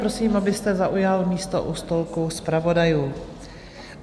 Prosím, abyste zaujal místo u stolku zpravodajů.